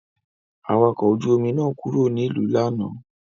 Awakọ̀ ojú-omi náà kúrò nílùú lánàá.